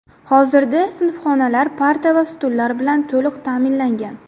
Hozirda sinfxonalar parta va stullar bilan to‘liq ta’minlangan.